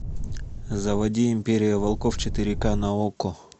заводи империя волков четыре ка на окко